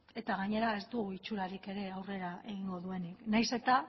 eta gainera ez du itxurarik ere aurrera egingo duenik nahiz eta